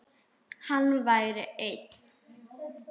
Hann væri einn.